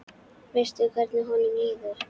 Veistu hvernig honum líður?